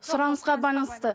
сұранысқа байланысты